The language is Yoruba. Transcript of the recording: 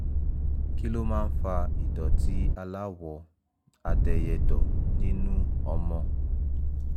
kí ló máa ń fa ìdọ̀tí aláwọ̀ adẹyẹ̣dọ̀ nínú ọmọ?